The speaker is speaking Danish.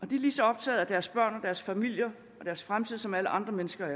de er lige så optaget af deres børn og deres familier og deres fremtid som alle andre mennesker